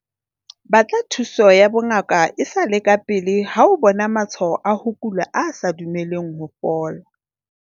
Batla thuso ya bongaka e sa le kapele ha o bona matshwao a ho kula a sa dumeleng ho fola.